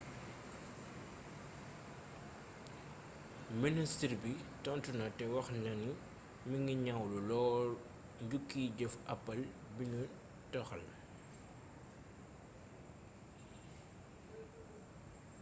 ministre bi tontu na te waxna ni mingi ñaawlu lool njukkiy jëf apple bi ñu toxal